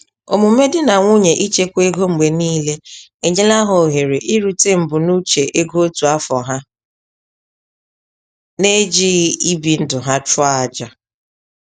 Omume di na nwunye ichekwa ego mgbe niile enyela ha ohere irute mbunuche ego otu afọ ha na-ejighị ibi ndụ ha chụọ aja.